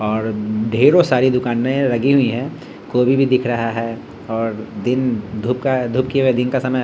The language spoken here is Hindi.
और ढेरों सारे दुकाने लगी हुई है कोभी भी दिख रहा है और दिन धूप का धुप किये हुए दिन का समय।